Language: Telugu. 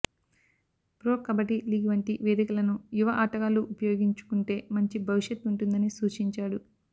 ప్రొ కబడ్డీ లీగ్ వంటి వేదికలను యువ ఆటగాళ్లు ఉపయోగించుకుంటే మంచి భవిష్యత్ ఉంటుందని సూచించాడు